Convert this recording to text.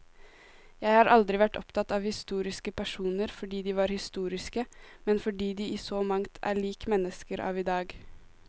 Jeg har aldri vært opptatt av historiske personer fordi de var historiske, men fordi de i så mangt er lik mennesker av i dag.